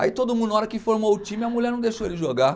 Aí todo mundo, na hora que formou o time, a mulher não deixou ele jogar.